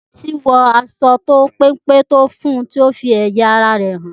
Títí wo aṣọ péńpé tí ọ fún tí o fí ẹyà ará rè hàn